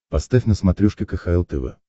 поставь на смотрешке кхл тв